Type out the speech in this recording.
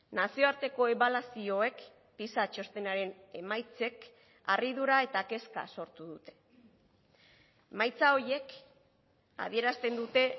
nazioarteko ebaluazioek giza txostenaren emaitzek harridura eta kezka sortu dute emaitza horiek adierazten dute